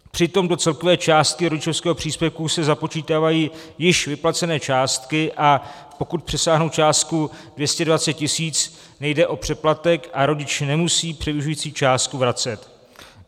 Přitom do celkové částky rodičovského příspěvku se započítávají již vyplacené částky, a pokud přesáhnou částku 220 tisíc, nejde o přeplatek a rodič nemusí převyšující částku vracet.